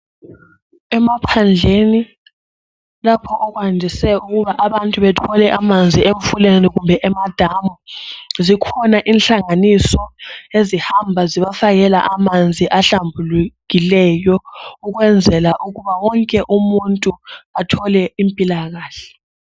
Emaphandleni lapho okwandise ukuba abantu bathole amanzi emfuleni kumbe emadamu, zikhona inhlanganiso ezihamba zibafakela amanzi ahlambululekileyo ukwenzala ukuthi wonke umuntu athole impilakahle